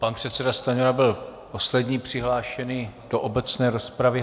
Pan předseda Stanjura byl poslední přihlášený do obecné rozpravy.